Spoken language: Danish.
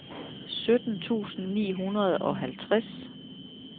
sytten tusind ni hundrede og halvtreds